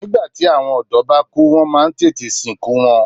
Nígbàtí àwọn ọ̀dọ́ bá kú wọ́n má a ń tètè sìnkú wọn